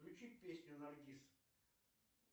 включи песню наргиз